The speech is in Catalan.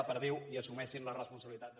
la perdiu i assumeixin la responsabilitat de